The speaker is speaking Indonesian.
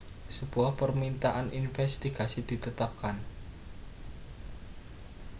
sebuah permintaan investigasi ditetapkan